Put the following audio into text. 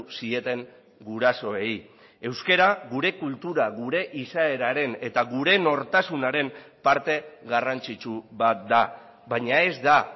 zieten gurasoei euskara gure kultura gure izaeraren eta gure nortasunaren parte garrantzitsu bat da baina ez da